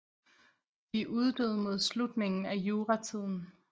De uddøde mod slutningen af juratiden